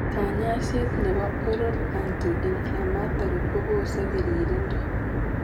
Kanyaiset nebo oral anti inflammatory kobose piririndo